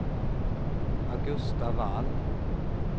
Augusta Wall